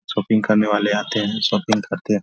Shopping करने वाले आते हैं शॉपिंग करते हैं।